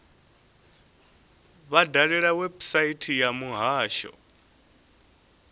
vha dalele website ya muhasho